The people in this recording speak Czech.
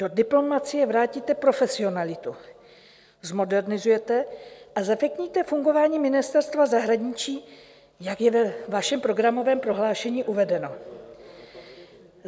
Do diplomacie vrátíte profesionalitu, zmodernizujete a zefektivníte fungování Ministerstva zahraničí, jak je ve vašem programovém prohlášení uvedeno.